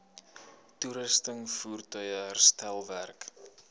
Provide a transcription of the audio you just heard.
toerusting voertuie herstelwerk